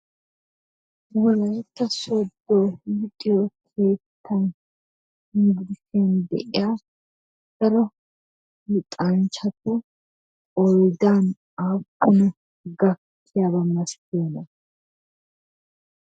Wolaytta Soodo luxiyo keettan yunbburssiyan de'iyaa dar luxanchchati qoodan aapuna gakkiyaaba masatiyoona?